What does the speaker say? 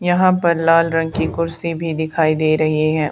यहां पर लाल रंग की कुर्सी भी दिखाई दे रही है।